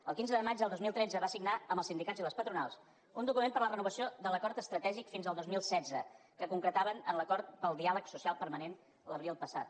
el quinze de maig del dos mil tretze va signar amb els sindicats i les patronals un document per a la renovació de l’acord estratègic fins al dos mil setze que concretaven en l’acord pel diàleg social permanent l’abril passat